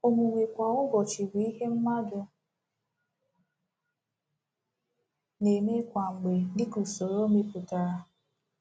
Omume kwa ụbọchị bụ “ihe mmadụ na-eme kwa mgbe dịka usoro emepụtara.”